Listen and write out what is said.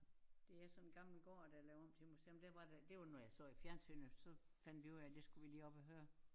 Det er sådan en gammel gård der er lavet om til museum der var der det var noget jeg så i fjernsynet så fandt vi ud af det skulle vi lige op og høre